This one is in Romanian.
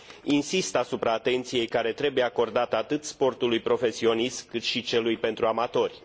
Insist asupra atenției care trebuie acordată atât sportului profesionist, cât și celui pentru amatori.